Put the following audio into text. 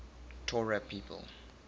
torah people